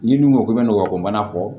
N'i dun ko k'i bɛ nɔgɔ ko mana fɔ